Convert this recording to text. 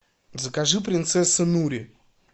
закажи принцесса нури